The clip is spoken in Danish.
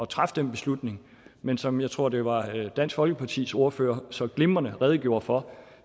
træffe den beslutning men som jeg tror det var dansk folkepartis ordfører så glimrende redegjorde for